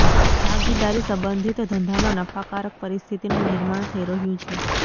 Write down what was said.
ભાગીદારી સંબંધિત ધંધામાં નફાકારક પરિસ્થિતિનું નિર્માણ થઈ રહ્યું છે